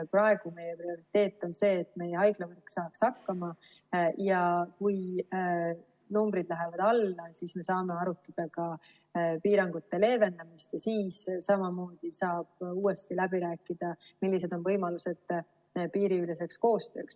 Praegu meie prioriteet on see, et meie haiglavõrk saaks hakkama, ja kui numbrid lähevad alla, siis me saame arutada ka piirangute leevendamist ja saab uuesti läbi rääkida, millised on võimalused piiriüleseks koostööks.